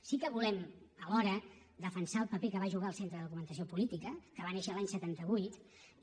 sí que volem alhora defensar el paper que va jugar el centre de documentació política que va néixer l’any setanta vuit i